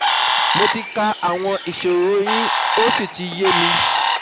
Mo ti ka àwọn ìṣoro yín ó sì ti yé mi